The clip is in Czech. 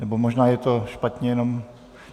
Nebo možná je to špatně jenom...